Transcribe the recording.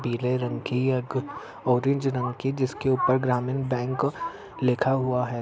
पीले रंग की या ऑरेंज रंग की जिसके ऊपर ग्रामीण बैंक लिखा हुआ है।